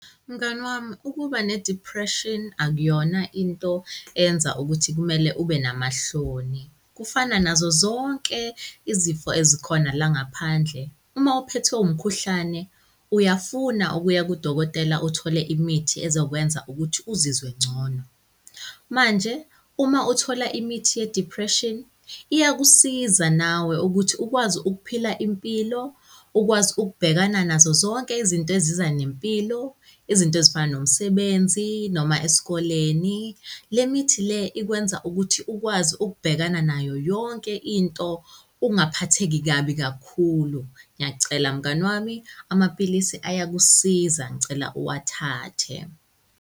Mngani wami, ukuba ne-depression akuyona into enza ukuthi kumele ube namahloni, kufana nazo zonke izifo ezikhona la ngaphandle. Uma uphethwe umkhuhlane uyafuna ukuya kudokotela uthole imithi ezokwenza ukuthi uzizwe ngcono. Manje uma uthola imithi ye-depression iyakusiza nawe ukuthi ukwazi ukuphila impilo, ukwazi ukubhekana nazo zonke izinto eziza nempilo, izinto ezifana nomsebenzi noma esikoleni. Le mithi le ikwenza ukuthi ukwazi ukubhekana nayo yonke into, ungaphatheki kabi kakhulu. Ngiyacela mngani wami, amapilisi ayakusiza. Ngicela uwathathe.